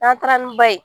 N'an taara ni ba ye